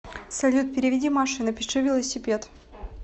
салют переведи маше и напиши велосипед